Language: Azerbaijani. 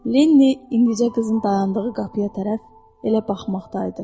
Lenni indicə qızın dayandığı qapıya tərəf elə baxmaqdaydı.